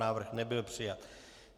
Návrh nebyl přijat.